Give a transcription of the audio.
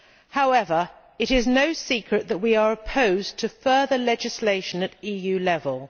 However, it is no secret that we are opposed to further legislation at EU level.